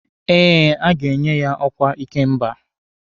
Eh, a ga-enye ya ọkwa ikemba.